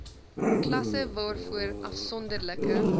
klasse waarvoor afsonderlike